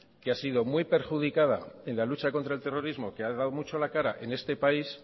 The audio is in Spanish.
que ha sido muy perjudicada en la lucha contra el terrorismo que ha dado mucho la cara en este país